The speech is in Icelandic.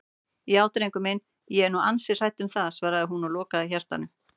Já drengur minn, ég er nú ansi hrædd um það, svaraði hún og lokaði hjartanu.